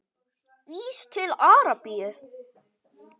Ís til Arabíu?